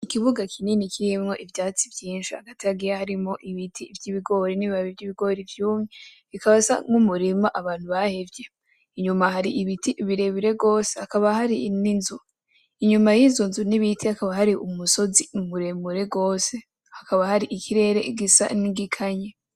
Ikibuga kinini kirimwo ivyatsi mvyinshi hagati harimwo ibiti vy'ibigore n'ibibabi vy 'ibigori vyumye hakaba hasa nk'umurima abantu bahevye, inyuma har'ibiti birebire gose, hakaba hari n'inzu inyuma y'izo nzu hakaba har'umusozi muremure gose ,hakaba har'ikirere gisa n'igikanye.